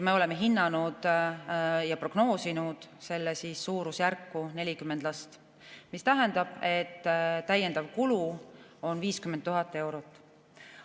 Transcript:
Me oleme hinnanud ja prognoosinud selle suurusjärguks 40 last, mis tähendab, et täiendav kulu on 50 000 eurot.